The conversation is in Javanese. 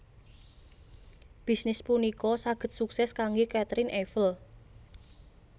Bisnis punika saged suksès kanggé Caterine Eiffel